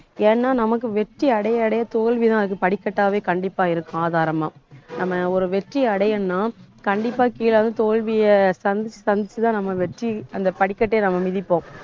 ஏன்னா நமக்கு வெற்றி அடைய அடைய தோல்விதான் அதுக்கு படிக்கட்டாவே கண்டிப்பா இருக்கும் ஆதாரமா நம்ம ஒரு வெற்றி அடையணும்ன்னா கண்டிப்பா கீழ வந்து தோல்விய சந்திச்சு சந்திச்சு தான் நம்ம வெற்றி அந்த படிக்கட்டையே நம்ம மிதிப்போம்